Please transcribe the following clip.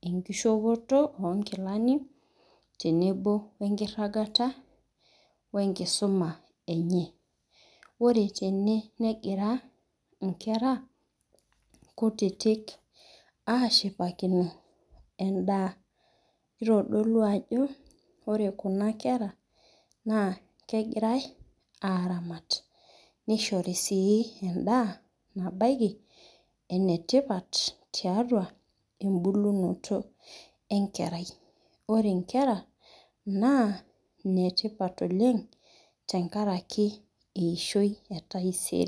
enkishopoto onkilani tenebo wenkirangata we nkisuma enye, ore tene nengira inkera kutitik, ashipakino endaa kitodolu ajo ore kuna kera na kengirae aramat, nishori si endaa nabaiki ene tipat tiatua ebulunoto enkerai, ore inkera na enetipat oleng tenkaraki eishoi etaisere.